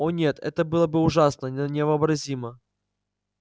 о нет это было бы ужасно невообразимо